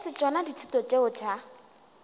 etse tšona dithuto tšeo tša